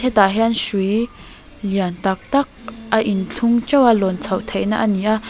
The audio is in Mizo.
hetah hian hrui lian tak tak a inthlung ṭeuh a lâwn chhoh theihna a ni a.